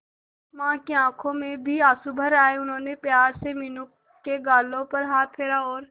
मां की आंखों में भी आंसू भर आए उन्होंने प्यार से मीनू के गालों पर हाथ फेरा और